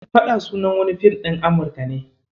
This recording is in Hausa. "Faɗa" sunan wani Film din Amurika ne.